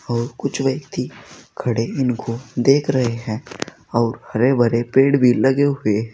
और कुछ व्यक्ति खड़े इनको देख रहे हैं और हरे भरे पेड़ भी लगे हुए हैं।